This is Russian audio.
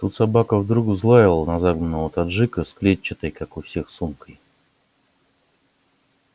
тут собака вдруг взлаяла на загнанного таджика с клетчатой как у всех сумкой